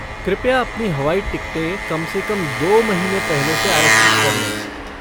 कृपया अपनी हवाई टिकटें कम से कम दो महीने पहले से आरक्षित कर लें।